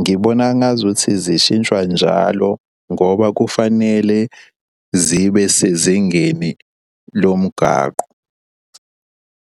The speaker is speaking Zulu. ngibona ngazuthi zishintshwa njalo ngoba kufanele zibe sezingeni lomgaqo.